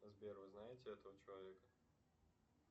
сбер вы знаете этого человека